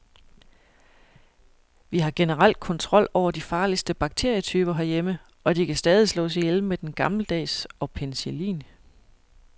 Vi har generelt kontrol over de farligste bakterietyper herhjemme, og de kan stadig slås ihjel med den gammeldags og penicillin.